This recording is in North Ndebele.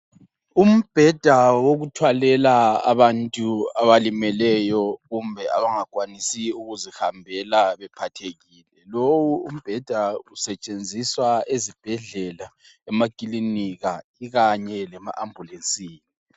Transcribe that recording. Umbheda wokuthwalela abantu abalimeleyo kumbe abangakwanisiyo ukuzihambela bephathekile. Lowu umbheda usetshenziswa ezibhedlela, emakilinika ikanye lema ambulesini.